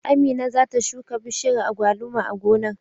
Amina za ta shuka bishiyar agwaluma a gonar.